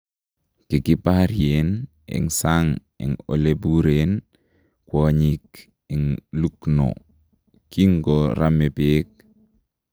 Kikibaryeen en sang en olebureen kwanyiik en Lucknow kinkoramee beek.